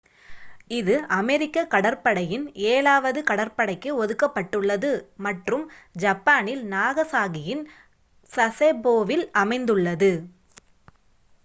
இது அமெரிக்க கடற்படையின் ஏழாவது கடற்படைக்கு ஒதுக்கப்பட்டுள்ளது மற்றும் ஜப்பானில் நாகசாகியின் சசெபோவில் அமைந்துள்ளது